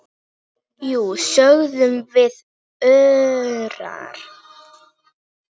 Jú, sögðum við örar.